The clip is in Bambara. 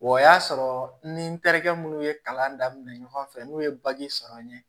O y'a sɔrɔ ni n terikɛ minnu ye kalan daminɛ ɲɔgɔn fɛ n'u ye sɔrɔ n ye